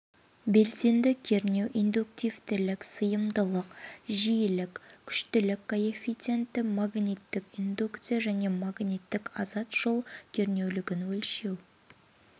белсенді кернеу индуктивтілік сыйымдылық жиілік күштілік коэффициенті магниттік индукция және магниттік азат жол кернеулігін өлшеу